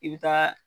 I bɛ taa